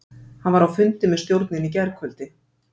Hann var á fundi með stjórninni í gærkvöldi.